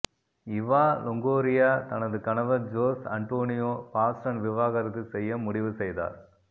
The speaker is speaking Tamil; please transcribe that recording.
இவா லோங்கோரியா தனது கணவர் ஜோஸ் அன்டோனியோ பாஸ்டன் விவாகரத்து செய்ய முடிவு செய்தார்